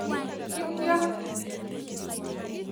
kityo.''